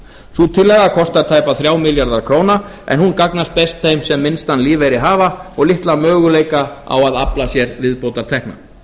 sú tillaga kostar tæpa þrjá milljarða króna en hún gagnast best þeim sem minnstan lífeyri hafa og litla möguleika á að afla sér viðbótartekna